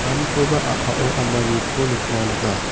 amkoba a·pao ananiko nikna man·a.